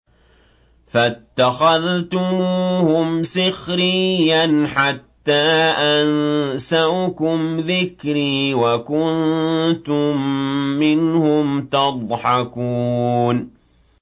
فَاتَّخَذْتُمُوهُمْ سِخْرِيًّا حَتَّىٰ أَنسَوْكُمْ ذِكْرِي وَكُنتُم مِّنْهُمْ تَضْحَكُونَ